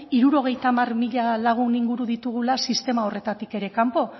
hirurogeita hamar mila lagun inguru ditugula sistema horretatik ere kanpo